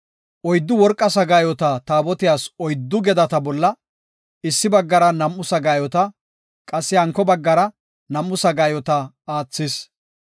Oyddu worqa sagaayota Taabotiyas oyddu gedata bolla, issi baggara nam7u sagaayota, qassi hanko baggara nam7u sagaayota aathis.